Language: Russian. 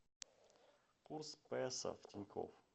курс песо в тинькофф